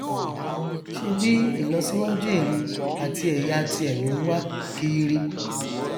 ṣèbí ìlọsíwájú ìran àti ẹyà tirẹ ló nwá kiiri